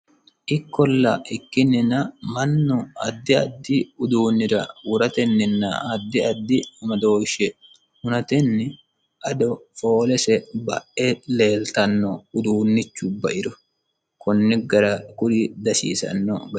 ikkolla ikkinnina manno addi addi uduunnira woratenninna addi addi badooshshe hunatenni ado foolese ba'e leeltanno uduunnichu bairo kunni gara kuri dasiisanno